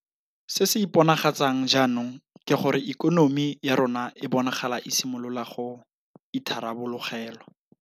Se se iponagatsang jaanong ke gore ikonomi ya rona e bonagala e simolola go itharabologelwa.